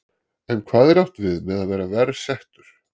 En hvað er átt við með að vera verr settur?